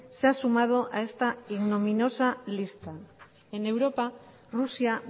se ha sumado a esta ignominiosa lista en europa rusia